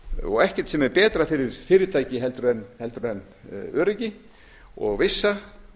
og ekkert sem er betra fyrir fyrirtæki heldur en öryggi og vissa